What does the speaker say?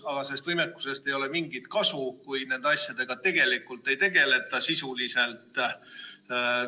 Aga sellest võimekusest ei ole mingit kasu, kui nende asjadega ei tegeleta sisuliselt.